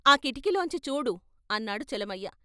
ఆ కిటికీలోంచి చూడు అన్నాడు చలమయ్య.